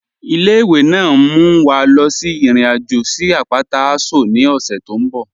Ile-iwe naa n mú wa lọ sí irin-ajo sí apátà Aso ni ọṣẹ tó nbọ̀.